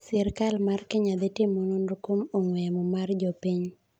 Sirkal mar Kenya dhitimo Nonro kuom Ongwee yamo mar jopiny.